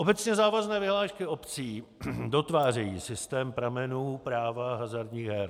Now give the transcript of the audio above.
Obecně závazné vyhlášky obcí dotvářejí systém pramenů práva hazardních her.